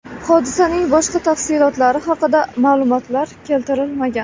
Hodisaning boshqa tafsilotlari haqida ma’lumotlar keltirilmagan.